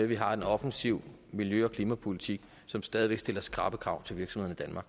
vi har en offensiv miljø og klimapolitik som stadig væk stiller skrappe krav til virksomhederne